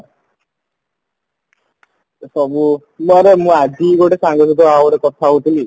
ସବୁ ମୋର ମୁଁ ଆଜି ଗୋଟେ ସାଙ୍ଗ ସହିତ ଆଉ ଗୋଟେ କଥା ହଉଥିଲି